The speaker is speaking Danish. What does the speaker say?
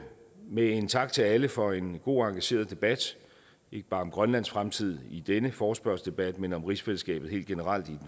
med en tak til alle for en god og engageret debat ikke bare om grønlands fremtid i denne forespørgselsdebat men om rigsfællesskabet helt generelt i